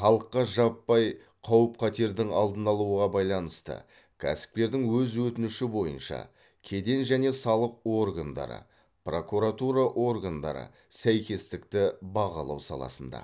халыққа жаппай қауіп қатердің алдын алуға байланысты кәсіпкердің өз өтініші бойынша кеден және салық органдары прокуратура органдары сәйкестікті бағалау саласында